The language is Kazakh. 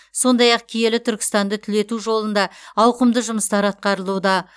сондай ақ киелі түркістанды түлету жолында ауқымды жұмыстар атқарылуда